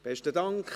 – Besten Dank.